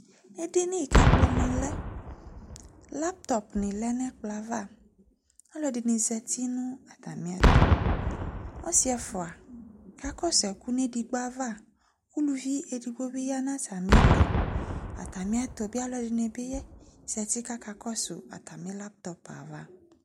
Ɛdini ku ɛkplɔ ni lɛ laytɔp ni lɛ nu ɛkplɔ yɛ ava aluɛdini zati nu atamiɛtu ɔsi ɛfua kakɔsu ɛku nu ɛku nu edigbo ava uluvi edigbo ya nu atami ili atami aluɛdini zati kakɔsu atami laytɔp ayava